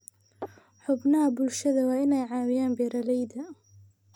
Xubnaha bulshadu waa inay caawiyaan beeralayda.